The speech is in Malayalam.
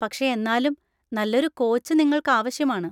പക്ഷെ എന്നാലും നല്ലൊരു കോച്ച് നിങ്ങൾക്ക് ആവശ്യമാണ്.